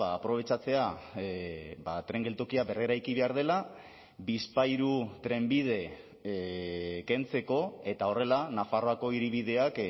aprobetxatzea tren geltokia berreraiki behar dela bizpahiru trenbide kentzeko eta horrela nafarroako hiribideak